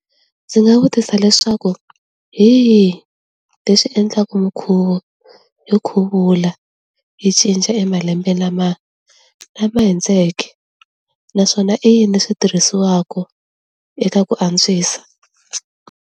Ndzi nga vutisa leswaku hi yini leswi endlaka minkhuvo yo khuvula yi cinca emalembe lama lama hundzeke naswona i yini swi tirhisiwaka eka ku antswisa.